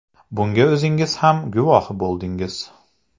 Bunga o‘zingiz ham guvohi bo‘ldingiz.